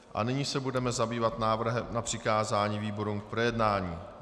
A nyní se budeme zabývat návrhem na přikázání výborům k projednání.